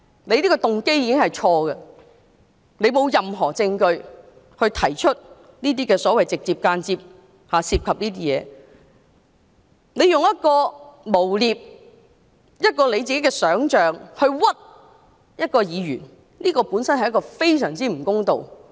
他這個動機已經錯誤，他沒有任何證據而提出"直接或間接地涉及"的指控，用自己想象出來的事去誣衊一位議員，本身已是非常不公道。